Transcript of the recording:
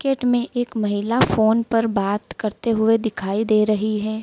Gate में एक महिला फोन पर बात करते हुए दिखाई दे रही है।